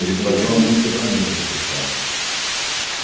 Eles faziam a música para mim nessa performance.